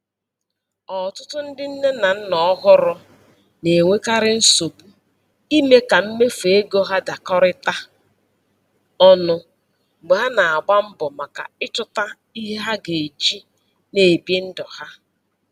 Ọtụtụ ndị nne na nna ọhụrụ na-enwekarị nsogbu ime ka mmefu ego ha dakorita ọnu mgbe há na agba mbọ maka Ichuta ihe ha ga eji na ebi ndụ ha